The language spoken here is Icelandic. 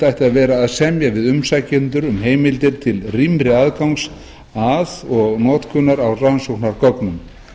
ætti að vera að semja við umsækjendur um heimildir til rýmri aðgangs að og notkunar á rannsóknargögnum